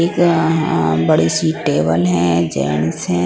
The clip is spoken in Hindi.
एक बड़ी सी टेबल है जेंट्स है।